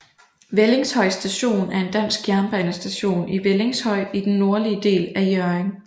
Vellingshøj Station er en dansk jernbanestation i Vellingshøj i den nordlige del af Hjørring